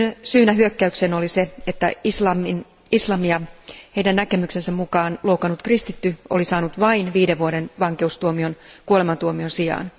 Syynä hyökkäykseen oli se, että islamia heidän näkemyksensä mukaan loukannut kristitty oli saanut vain viiden vuoden vankeustuomion kuolemantuomion sijaan.